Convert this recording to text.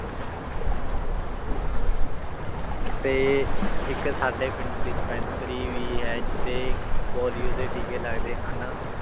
ਤੇ ਇੱਕ ਸਾਡੇ ਪਿੰਡ dispensary ਵੀ ਹੈ ਜਿੱਥੇ ਪੋਲੀਓ ਦੇ ਟੀਕੇ ਲੱਗਦੇ ਹਨ